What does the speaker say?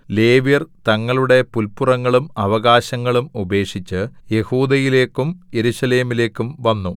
ലേവ്യർ തങ്ങളുടെ പുല്പുറങ്ങളും അവകാശങ്ങളും ഉപേക്ഷിച്ച് യഹൂദയിലേക്കും യെരൂശലേമിലേക്കും വന്നു